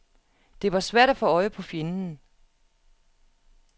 Det var svært at få øje på fjenden.